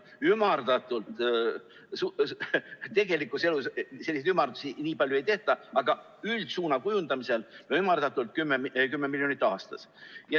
Tegelikus elus selliseid ümardusi nii palju ei tehta, aga üldsuuna kujundamisel oli ümardatult 10 miljonit aastas.